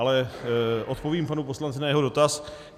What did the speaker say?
Ale odpovím panu poslanci na jeho dotaz.